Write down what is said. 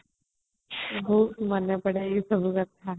ବହୁତ ମନେପଡେ ଏଇ ସବୁ କଥା |